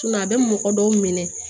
a bɛ mɔgɔ dɔw minɛ